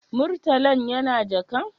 Murtalan yana jakan?